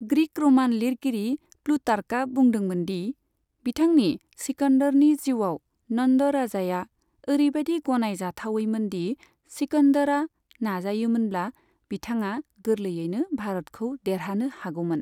Greek' रमान लिरगिरि प्लुटार्कआ बुंदोंमोनदि बिथांनि सिकन्दरनि जिउआव नन्द राजाया ओरैबायदि गनाय जाथावैमोन दि सिकन्दरआ नाजायोमोनब्ला बिथाङा गोरलैयैनो भारतखौ देरहानो हागौमोन।